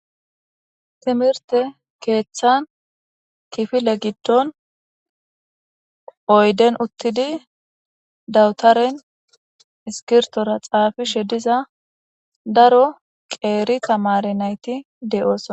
Timirte keeththan kifile giddon oyden uttidi dawutaren iskirtora xaafishe diza daro qeeri tamare nayti de'ooso.